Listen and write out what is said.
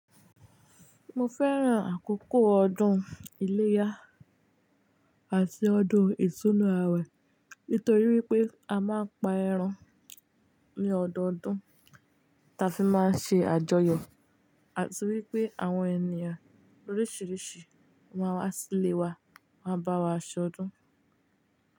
Mo fẹ́ràn àkókò ọdún iléyá àti ọdún ìtúnú awẹ̀ nítorí wípé a máa ń pa ẹran ní ọdọdún, ta fi máa ń ṣe àjọyọ̀ àti wípé àwọn ènìyàn oríṣìíríṣìí máa wá sílé wa, máa bá wa ṣọdún.